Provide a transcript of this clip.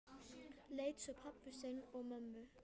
Leit svo á pabba sinn og mömmu.